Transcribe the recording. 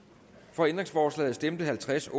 for ændringsforslaget stemte halvtreds